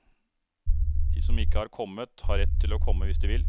De som ikke har kommet har rett til å komme hvis de vil.